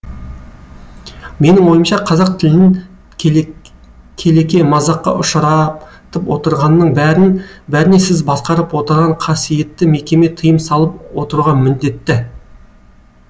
менің ойымша қазақ тілін келеке мазаққа ұшыратып отырғанның бәріне сіз басқарып отырған қасыйетті мекеме тыйым салып отыруға міндетті